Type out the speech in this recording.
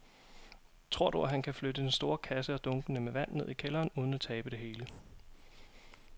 Tror du, at han kan flytte den store kasse og dunkene med vand ned i kælderen uden at tabe det hele?